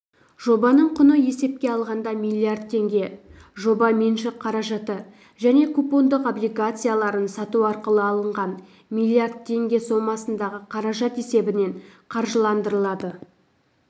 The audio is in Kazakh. жобаның құны есепке алғанда миллиард теңге жоба меншік қаражаты және купондық облигацияларын сату арқылы алынған миллиард теңге сомасындағы қаражат есебінен қаржыландырылады